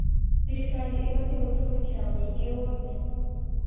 Thirikari ĩbatiĩ gũtũmĩkĩra mũingĩ woothe.